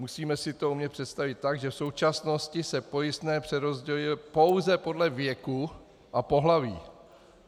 Musíme si to umět představit tak, že v současnosti se pojistné přerozděluje pouze podle věku a pohlaví.